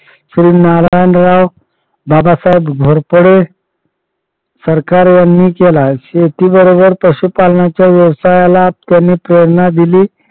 श्री नारायण बाबासाहेब घोरपडे सरकार यांनी केला शेतीबरोबर पशुपालनाच्या व्यवसायाला कमी प्रेरणा दिली.